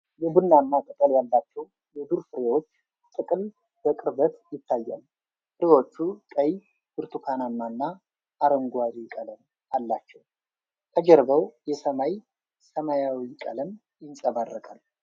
የቡናማ ቅጠል ያላቸው የዱር ፍሬዎች ጥቅል በቅርበት ይታያል። ፍሬዎቹ ቀይ፣ ብርቱካናማና አረንጓዴ ቀለም አላቸው። ከጀርባው የሰማይ ሰማያዊ ቀለም ይንጸባረቃል ።